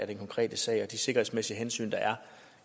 den konkrete sag og de sikkerhedsmæssige hensyn der